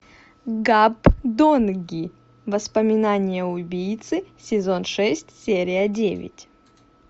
гапдонги воспоминания убийцы сезон шесть серия девять